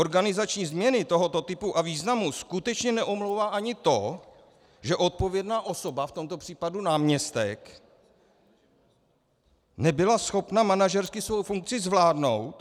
Organizační změny tohoto typu a významu skutečně neomlouvá ani to, že odpovědná osoba, v tomto případě náměstek, nebyla schopna manažersky svou funkci zvládnout.